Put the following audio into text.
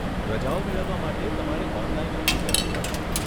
રજાઓ મેળવવા માટે તમારે ઓનલાઈન અરજી કરવી પડશે.